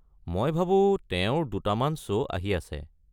মই ভাবো তেওঁৰ দুটামান শ্ব' আহি আছে।